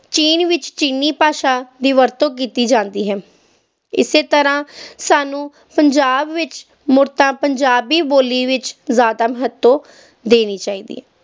ਚੀਨ ਵਿਚ ਚੀਨੀ ਭਾਸ਼ਾ ਦੀ ਵਰਤੋਂ ਕੀਤੀ ਜਾਂਦੀ ਹੈ, ਇਸੇ ਤਰ੍ਹਾਂ ਸਾਨੂੰ ਪੰਜਾਬ ਵਿੱਚ ਪੰਜਾਬੀ ਬੋਲੀ ਵਿੱਚ ਜ਼ਿਆਦਾ ਮਹੱਤਵ ਦੇਣੀ ਚਾਹੀਦੀ ਹੈ